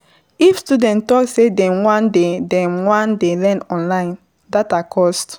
If student talk sey dem wan dey dem wan dey learn online, data cost